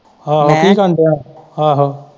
ਆਹੋ-ਆਹੋ ਕੀ ਕਰਨ ਦਿਆਂ।